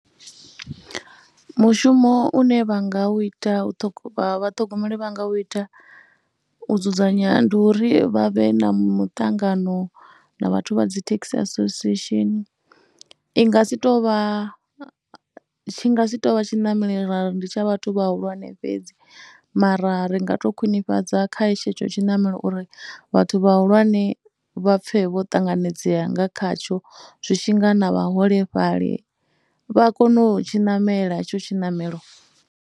Mushumo une vha nga u ita vhathogomeli vha nga u ita u dzudzanya ndi uri vha vhe na muṱangano na vhathu vha dzi taxi association, i nga si tou vha, tshi nga si tou vha tshiṋamelo ra ri ndi tsha vhathu vhahulwane fhedzi mara ri nga tou khwinifhadza kha tshetsho tshi ṋamelo uri vhathu vhahulwane vha pfhe vho ṱanganedzea nga khatsho zwi tshi nga na vhaholefhali vha kone u tshi ṋamela hetsho tshiṋamelo.